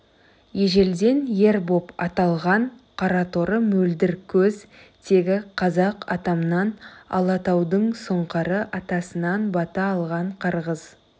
ежелден ер боп аталған қараторы мөлдір көз тегі қазақ атамнан алатаудың сұңқары атасынан бата алған қырғыз